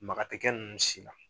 Maga tɛ kɛ ninnu si la.